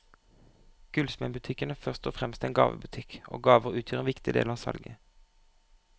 Gullsmedbutikken er først og fremst en gavebutikk, og gaver utgjør en viktig del av salget.